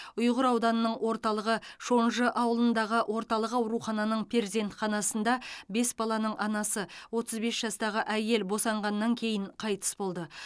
ұйғыр ауданының орталығы шонжы ауылындағы орталық аурухананың перзентханасында бес баланың анасы отыз бес жастағы әйел босанғаннан кейін қайтыс болды